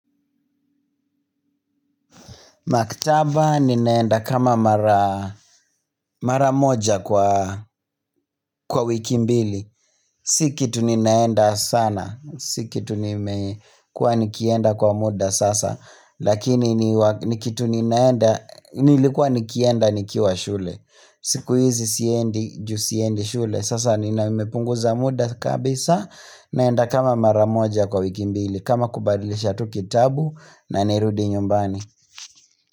Maktaba ninaenda kama mara mara moja kwa wiki mbili. Si kitu ninaenda sana. Si kitu nimekuwa nikienda kwa muda sasa. Lakini ni kitu ninaenda, nilikuwa nikienda nikiwa shule. Siku hizi siendi, juu siendi shule. Sasa ni na nimepunguza muda kabisa. Naenda kama mara moja kwa wiki mbili. Kama kubadilisha tu kitabu na nirudi nyumbani.